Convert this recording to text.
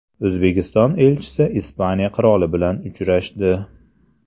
O‘zbekiston elchisi Ispaniya qiroli bilan uchrashdi.